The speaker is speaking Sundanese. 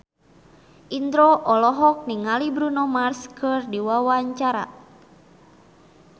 Indro olohok ningali Bruno Mars keur diwawancara